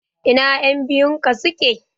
Ina ƴan biyun ka suke?